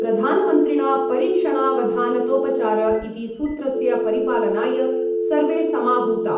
प्रधानमन्त्रिणा परीक्षणावधानतोपचार इति सूत्रस्य परिपालनाय सर्वे समाहूता।